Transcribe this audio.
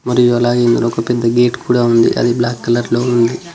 ఒక పెద్ద గేటు కూడా ఉంది అది బ్లాక్ కలర్ లో ఉంది.